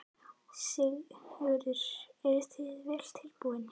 Sigurður: Eruð þið vel útbúin?